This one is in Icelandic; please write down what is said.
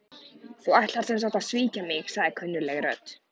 Þú ætlar sem sagt að svíkja mig- sagði kunnugleg rödd.